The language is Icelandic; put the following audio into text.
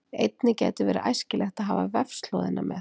Einnig gæti verið æskilegt að hafa vefslóðina með.